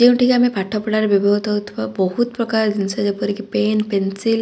ଯେଉଁଠିକି ଆମେ ପାଠ ପଢା ରେ ବିଭିହୋତ ହୋଉଥିବା ବୋହୁତ୍ ପ୍ରକାର ଜିନ୍ଷ ଜେପରିକି ପେନ୍ ପେନସିଲ --